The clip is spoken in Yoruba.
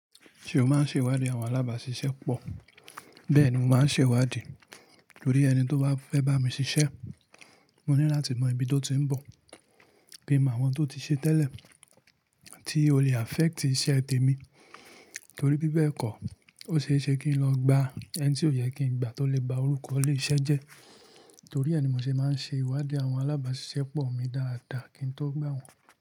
Ṣé o máa ń ṣe ìwádìí àwọn alábàáṣiṣẹ́ pọ̀? Bẹ́ẹ̀ ni mo máa ń ṣe ìwádìí torí ẹni tí ó bá fẹ́ bá mi ṣiṣẹ́, mo ní láti mọ ibi tó ti ń bọ̀, kí n mọ àwọn tó ti ṣe tẹ́lẹ̀ tí ó le affect iṣẹ́ tèmi torí bí bẹ́ẹ̀ kọ́, ó ṣe é ṣe kí n lọ gba ẹni tí ó yẹ kí n gba tó lè ba orúkọ ile iṣẹ́ jẹ́ torí ẹni mo ṣe máa ń ṣe ìwádìí àwọn alábáàṣiṣẹ́ pọ̀ mi dáadáa kí n tó gba wọn.